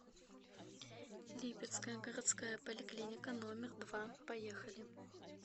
липецкая городская поликлиника номер два поехали